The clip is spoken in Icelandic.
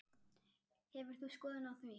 Hefur þú skoðun á því?